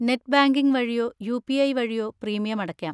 Net banking വഴിയോ UPI. വഴിയോ premium അടക്കാം.